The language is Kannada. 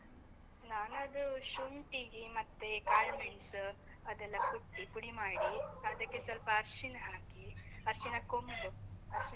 ನಾನ್ ಅದು ಶುಂಠಿಗಿ ಮತ್ತೇ ಕಾಳ್‌ಮೆಣ್‌ಸ್ಸ್‌ ಅದೆಲ್ಲ ಕುಟ್ಟಿ ಪುಡಿ ಮಾಡಿ, ಅದಕ್ಕೆ ಸ್ವಲ್ಪ ಅರ್ಶಿಣ ಹಾಕಿ, ಅರ್ಶಿಣ ಕೊಂಬ್, ಅರ್ಶಿಣ.